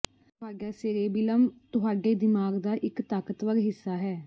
ਤੁਹਾਡਾ ਸੇਰੇਬਿਲਮ ਤੁਹਾਡੇ ਦਿਮਾਗ ਦਾ ਇੱਕ ਤਾਕਤਵਰ ਹਿੱਸਾ ਹੈ